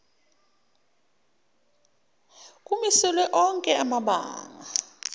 kumiselwe onke amabanga